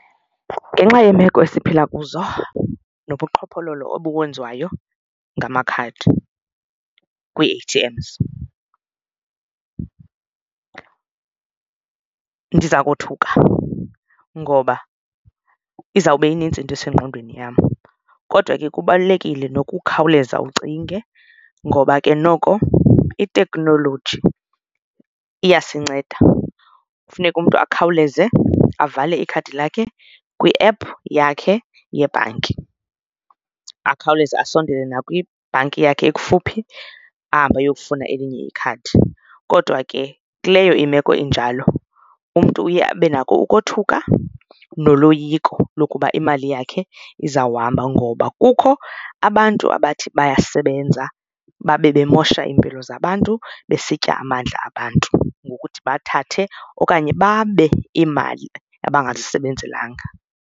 Ngenxa yeemeko esiphila kuzo nobuqhophololo obukwenziwayo ngamakhadi kwii-A_T_Ms, ndiza kothuka ngoba izawube inintsi into esengqondweni yam. Kodwa ke kubalulekile nokukhawuleza ucinge ngoba ke noko iteknoloji iyasinceda, kufuneka umntu akhawuleze avale ikhadi lakhe kwi-app yakhe yebhanki akhawuleze asondele nakwibhanki yakhe ekufuphi ahambe ayokufuna elinye ikhadi. Kodwa ke kuleyo imeko injalo umntu uye abe nako ukothuka noloyiko lokuba imali yakhe izawuhamba ngoba kukho abantu abathi bayasebenza babe bemosha iimpilo zabantu besitya amandla abantu ngokuthi bathathe okanye babe iimali abangazisebenzelanga.